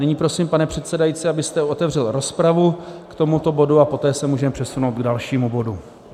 Nyní prosím, pane předsedající, abyste otevřel rozpravu k tomuto bodu, a poté se můžeme přesunout k dalšímu bodu.